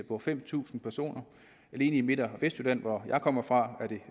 på fem tusind personer alene i midt og vestjylland hvor jeg kommer fra er det